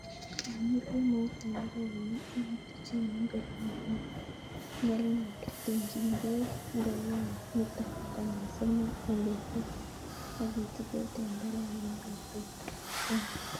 Inur kemout tenderek konom ak ituchen ngoriet ne nenyelnyel. Tumchin beek ngorioniton konyil somok en betut ak ichikil tenderek en betutab somok.